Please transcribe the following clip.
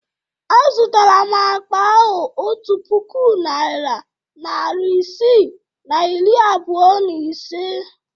Azụrụ m akpa ahụ otu puku naịra, narị isii na iri abụọ na ise?